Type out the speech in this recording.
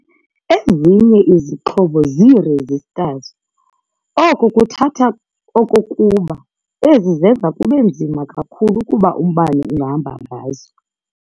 Ezinye izixhobo zii-"resistors". Oku kuthatha okokuba ezi zenza kube nzima kakhulu ukuba umbane ungahamba ngazo.